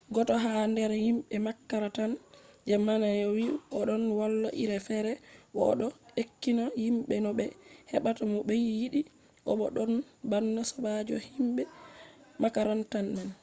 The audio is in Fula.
goto ha nder himɓe makaranta je naneno vi ‘o ɗonno wola iri fere bo o ɗo ekkitina himɓe no ɓe heɓata mo ɓe yiɗi bo o ɗonno bana sobajo himɓe makaranta man’